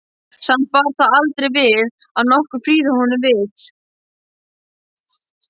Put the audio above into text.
Samt bar það aldrei við, að nokkur frýði honum vits.